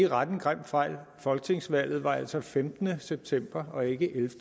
rette en grim fejl folketingsvalget var altså den femtende september og ikke